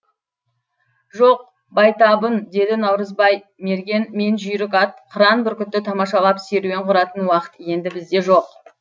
жоқ байтабын деді наурызбай мерген мен жүйрік ат қыран бүркітті тамашалап серуен құратын уақыт енді бізде жоқ